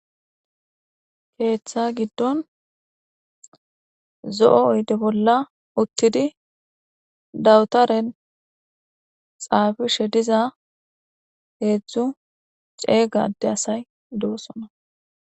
keeththa giddon zo7o oyde bolla uttidi dawutaren xaafishe diza heedzdzu ceeygade asay doosona